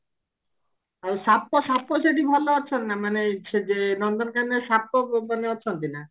ଆଉ ସାପ ସାପ ସେଠି ଭଲ ଅଛନ୍ତି ନା ମାନେ ସେ ଯେ ନନ୍ଦନକାନନ ରେ ସାପ ମାନେ ଅଛନ୍ତି ନା